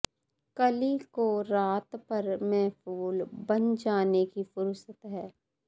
ਕਲੀ ਕੋ ਰਾਤ ਭਰ ਮੇਂ ਫੂਲ ਬਨ ਜਾਨੇ ਕੀ ਫ਼ੁਰਸਤ ਹੈ